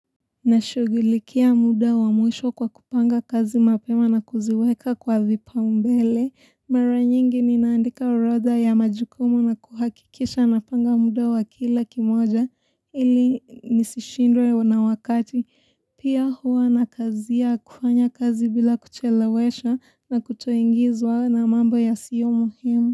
Ninashugilikia muda wa mwisho kwa kupanga kazi mapema na kuziweka kwa vipaumbele. Mara nyingi ninaandika orodha ya majukumu na kuhakikisha ninapanga muda wa kila kimoja ili nisishindwe na wakati. Pia huwa ninakazia kufanya kazi bila kuchelewesha na kutoingizwa na mambo ya siyo muhimu.